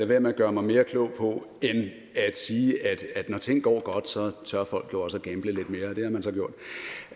være med at gøre mig mere klog på end at sige at når ting går godt så tør folk jo også